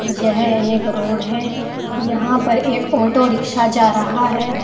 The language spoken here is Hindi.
यह एक रोड है यहां पर एक ऑटो रिक्शा जा रहा है।